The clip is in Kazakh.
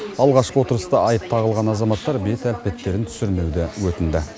алғашқы отырыста айып тағылған азаматтар бет әлпеттерін түсірмеуді өтінді